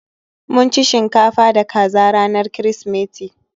Mun ci shinkafa da kaza ranar Kirsimeti